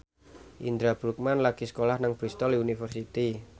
Indra Bruggman lagi sekolah nang Bristol university